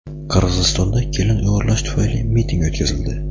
Qirg‘izistonda kelin o‘g‘irlash tufayli miting o‘tkazildi.